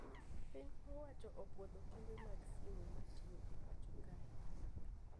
Piny owacho opuodho kembe mag simu matiyo e pacho kae